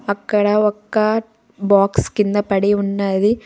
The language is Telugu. అక్కడ ఒక్క బాక్స్ కిందపడి ఉన్నది.